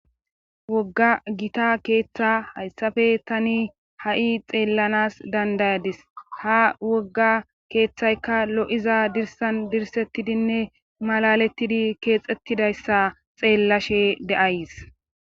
Wogga gita keeththa hayssafe tani ha7i xeellanas dandayadis ha wogga keeththaykka lo7iza dirsan dirsettidinne malalettidi keexettidayssa xeellashe de7ays.